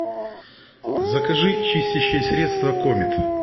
закажи чистящее средство комет